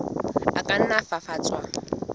a ka nna a fafatswa